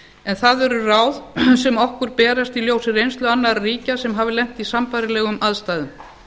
en það eru ráð sem okkur berast í ljósi reynslu annarra ríkja sem hafa lent í sambærilegum aðstæðum